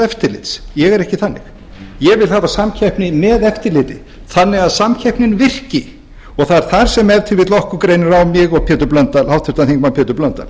eftirlits ég er ekki þannig ég vil hafa samkeppni með eftirliti þannig að samkeppnin virki og það er þar sem ef til vill okkur greinir á mig og háttvirtur þingmaður pétur blöndal